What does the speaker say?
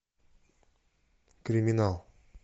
криминал